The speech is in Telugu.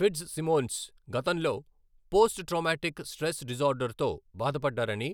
ఫిట్జ్సిమోన్స్ గతంలో పోస్ట్ ట్రామాటిక్ స్ట్రెస్ డిజార్డర్తో బాధపడ్డారని